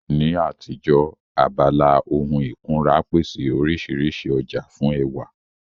Ní àtijọ́, abala ohun ìkunra pèsè oríṣiríṣi ọjà fún ẹwà